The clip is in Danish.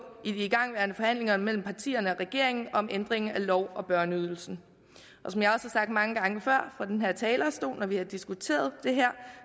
i de igangværende forhandlinger mellem partierne og regeringen om ændring af lov om børneydelsen som jeg har sagt mange gange før fra den her talerstol når vi har diskuteret det her